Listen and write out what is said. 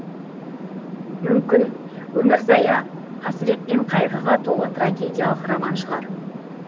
мүмкін өмірзая қасірет пен қайғыға толы трагедиялық роман шығар